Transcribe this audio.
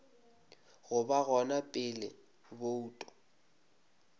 go ba gona pele bouto